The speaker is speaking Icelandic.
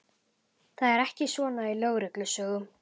Það er ekki svona í leynilögreglusögum.